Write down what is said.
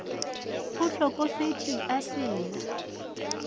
o hlokofetše a se na